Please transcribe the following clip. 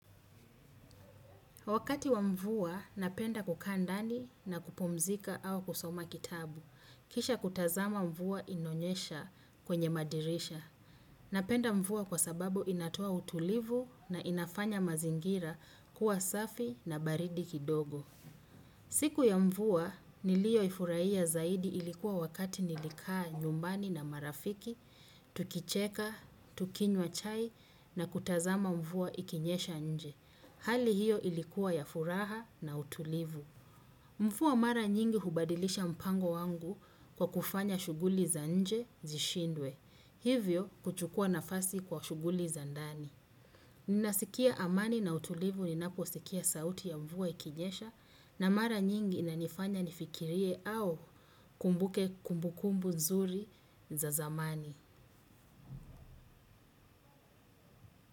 Wakati wa mvua napenda kukaa ndani na kupumzika au kusoma kitabu. Kisha kutazama mvua inayonyesha kwenye madirisha. Napenda mvua kwa sababu inatoa utulivu na inafanya mazingira kuwa safi na baridi kidogo. Siku ya mvua niliyoifurahia zaidi ilikuwa wakati nilikaa nyumbani na marafiki, tukicheka, tukinywa chai na kutazama mvua ikinyesha nje. Hali hiyo ilikuwa ya furaha na utulivu. Mvua mara nyingi hubadilisha mpango wangu kwa kufanya shuguli za nje zishindwe. Hivyo kuchukua nafasi kwa shuguli za ndani. Ninasikia amani na utulivu ninapo sikia sauti ya mvua ikinyesha. Na mara nyingi inanifanya nifikirie au nikumbuke kumbukumbu nzuri za zamani.